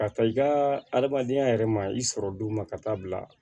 Ka taa i ka adamadenya yɛrɛ ma i sɔrɔ don ma ka taa bila